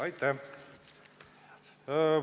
Aitäh!